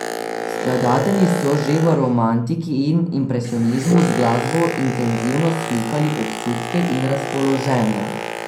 Skladatelji so že v romantiki in impresionizmu z glasbo intenzivno slikali občutke in razpoloženja.